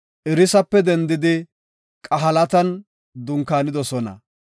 Irisape dendidi Qahelatan dunkaanidosona.